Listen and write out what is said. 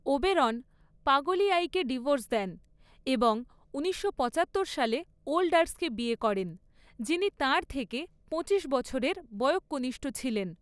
Oberon পাগলিয়াইকে divorce দেন এবং ঊনিশশো পচাত্তর সালে ওল্ডার্সকে বিয়ে করেন, যিনি তাঁর থেকে পঁচিশ বছরের বয়ঃকনিষ্ঠ ছিলেন।